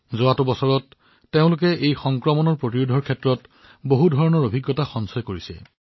যোৱা এবছৰত তেওঁলোকে ৰোগটোৰ বিষয়ে সকলো ধৰণৰ অভিজ্ঞতা লাভ কৰিছে